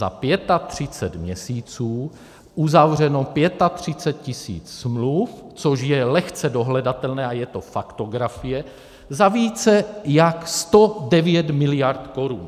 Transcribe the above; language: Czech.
Za 35 měsíců uzavřeno 35 000 smluv, což je lehce dohledatelné a je to faktografie, za více jak 109 miliard korun.